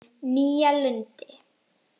Nýja Lundi